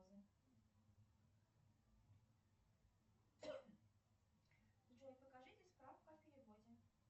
джой покажите справку о переводе